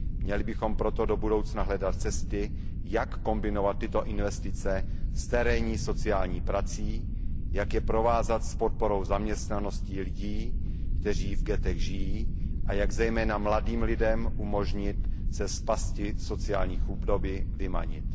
Měli bychom proto do budoucna hledat cesty, jak kombinovat tyto investice s terénní sociální prací, jak je provázat s podporou zaměstnanosti lidí, kteří v ghettech žijí, a jak zejména mladým lidem umožnit se z pasti sociální chudoby vymanit.